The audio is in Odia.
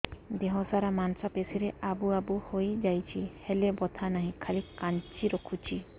ଦେହ ସାରା ମାଂସ ପେଷି ରେ ଆବୁ ଆବୁ ହୋଇଯାଇଛି ହେଲେ ବଥା ନାହିଁ ଖାଲି କାଞ୍ଚି ରଖୁଛି